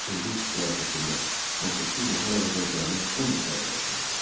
İndi süfrə arxasında 18 nəfər əvəzinə cəmi 10 nəfər əyləşmişdi.